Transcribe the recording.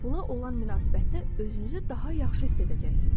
Pula olan münasibətdə özünüzü daha yaxşı hiss edəcəksiz.